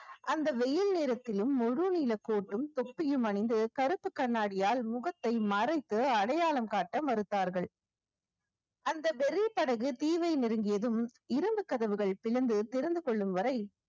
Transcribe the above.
அந்த வெயில் நேரத்திலும் முழுநீள கோட்டும் தொப்பியும் அணிந்து கருப்பு கண்ணாடியால் முகத்தை மறைத்து அடையாளம் காட்ட மறுத்தார்கள் அந்த வெறி படகு தீவை நெருங்கியதும் இரும்பு கதவுகள் பிளந்து திறந்து கொள்ளும் வரை